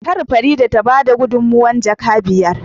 Kar Farida tabada gudunmawar jaka biyar